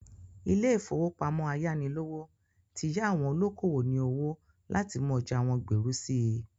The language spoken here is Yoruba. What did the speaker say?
Ilé-ìfowópamọ ayánilówó ti yá àwọn olókowò ní owó láti mú ọjà wọ́n gbèrú sí i.